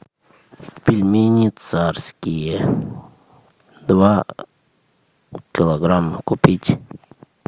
пельмени царские два килограмма купить